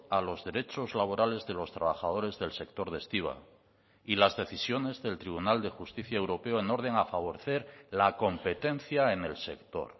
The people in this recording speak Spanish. a los derechos laborales de los trabajadores del sector de estiba y las decisiones del tribunal de justicia europeo en orden a favorecer la competencia en el sector